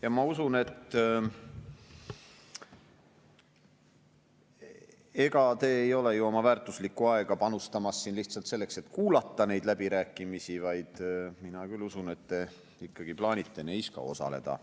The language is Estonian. Ma küll usun, et ega sa ei ole ju oma väärtuslikku aega panustamas siin lihtsalt selleks, et kuulata neid läbirääkimisi, vaid sa ikkagi plaanid neis ka osaleda.